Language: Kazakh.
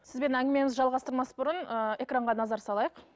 сізбен әңгімемізді жалғастырмас бұрын ыыы экранға назар салайық